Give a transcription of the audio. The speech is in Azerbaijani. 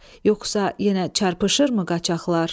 Yoxsa yenə çarpışırmı qaçaqlar?